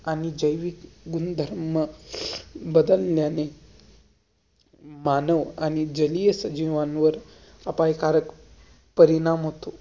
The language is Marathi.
आणि जैविक गुणधर्म, बदल्न्याने मानव, आणि जलियस जिवांवर अपय्कारक परिणाम होतं.